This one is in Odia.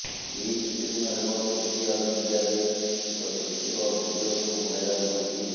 ଏଇ କିଛିଦିନ ହେବ ସୋସିଆଲ ମିଡିଆରେ ଏକ ଶିଶୁର ଭିଡିଓ ଖୁବ୍ ଭାଇରାଲ ହୋଇଛି